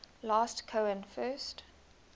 last cohen first